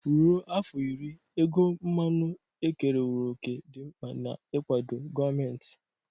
Ruo afọ iri, ego mmanụ ekerewo òkè dị mkpa n'ịkwado gọọmenti.